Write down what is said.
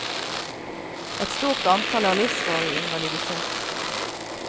Et stort antall er livsvarig invalidisert.